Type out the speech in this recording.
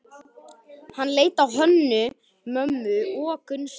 Hann leit á Hönnu-Mömmu og Gunnstein.